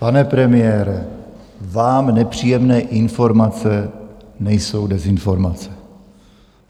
Pane premiére, vám nepříjemné informace nejsou dezinformace.